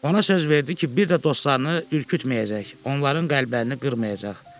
Ona söz verdi ki, bir də dostlarını ürkütməyəcək, onların qəlblərini qırmayacaq.